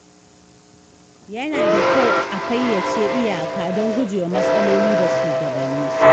Yana da kyau a fayyace iyaka don gujewa matsaloli da shugabanni.